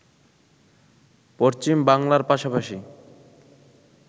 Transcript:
পশ্চিম বাংলার পাশাপাশি